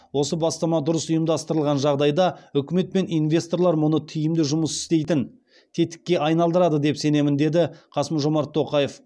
осы бастама дұрыс ұйымдастырылған жағдайда үкімет пен инвесторлар мұны тиімді жұмыс істейтін тетікке айналдырады деп сенемін деді қасым жомарт тоқаев